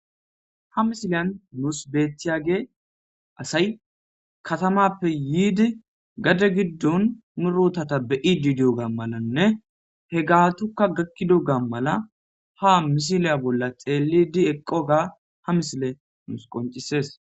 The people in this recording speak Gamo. Ha misiliya nus betiyagey asay katamappe yidi gade gidon nu botata be'idi diyodi diyogada malane ha misiliya bolla qoncises xelidi eqoga ha misiley qoncises